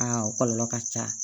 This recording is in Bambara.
Aa o kɔlɔlɔ ka ca